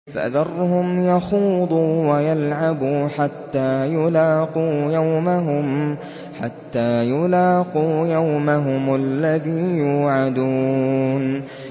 فَذَرْهُمْ يَخُوضُوا وَيَلْعَبُوا حَتَّىٰ يُلَاقُوا يَوْمَهُمُ الَّذِي يُوعَدُونَ